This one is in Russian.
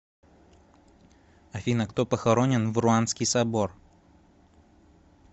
афина кто похоронен в руанский собор